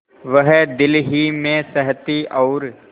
वह दिल ही में सहती और